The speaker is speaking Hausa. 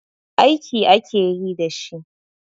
Aiki ake yi da shi.